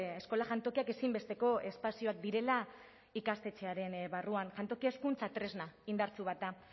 eskola jantokiak ezinbesteko espazioak direla ikastetxearen barruan jantokia hezkuntza tresna indartsu bat da